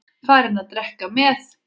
Farinn að drekka með